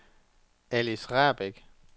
Alice Rahbek